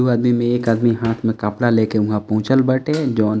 दू आदमी में एक आदमी हाथ में कपडा लेके वहाँ पहुँचल बाटे जोन --